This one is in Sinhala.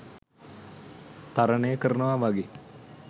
තරනය කරනවා වගේ